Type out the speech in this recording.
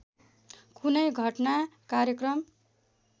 कुनै घटना कार्यक्रम